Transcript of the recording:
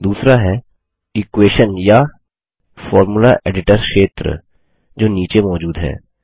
दूसरा है formula editor क्षेत्र एरिया जो नीचे मौजूद है